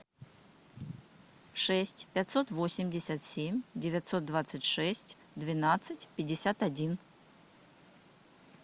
шесть пятьсот восемьдесят семь девятьсот двадцать шесть двенадцать пятьдесят один